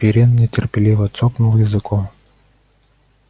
пиренн нетерпеливо цокнул языком